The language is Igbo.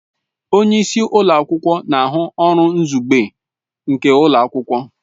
Onye isi ụlọ akwụkwọ na ahụ ọrụ izugbe nke ụlọ akwụkwọ